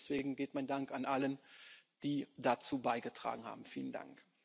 Und deswegen geht mein Dank an alle, die dazu beigetragen haben Vielen Dank!